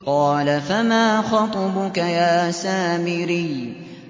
قَالَ فَمَا خَطْبُكَ يَا سَامِرِيُّ